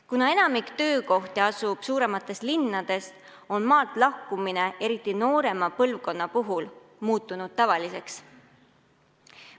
Kuna enamik töökohti asub suuremates linnades, on maalt lahkumine, eriti noorema põlvkonna puhul, muutunud tavaliseks.